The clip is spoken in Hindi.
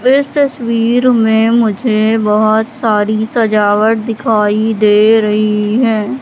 इस तस्वीर में मुझे बहोत सारी सजावट दिखाई दे रही है।